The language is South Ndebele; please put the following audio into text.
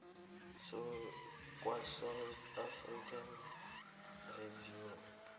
kwasouth african revenue